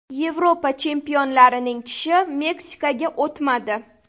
Yevropa chempionlarining tishi Meksikaga o‘tmadi.